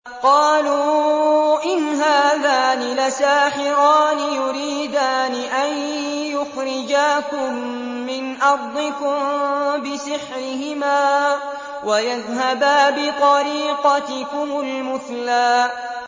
قَالُوا إِنْ هَٰذَانِ لَسَاحِرَانِ يُرِيدَانِ أَن يُخْرِجَاكُم مِّنْ أَرْضِكُم بِسِحْرِهِمَا وَيَذْهَبَا بِطَرِيقَتِكُمُ الْمُثْلَىٰ